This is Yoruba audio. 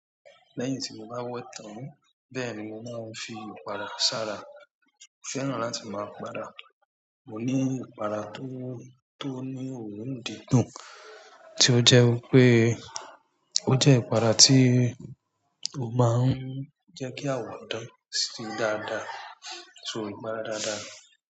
Lẹ́yìn tí mo bá wẹ tán. Bẹ́ẹ̀ ni mo máa ń fi ìpara ṣàrà. Mo fẹ́ràn láti máa para. Mo ní ìpara tó, tó ní òórùn dídùn, tí ó jẹ́ wi pé ó jẹ́ ìpara tí ó máa ń jẹ́ kí àwọ̀ dán sí dáadáa. So ìpara dáadáa ni.